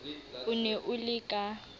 o ne o le ka